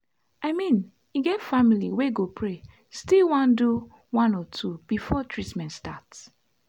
i mean e get family wey go pray still one do one or two before treament start.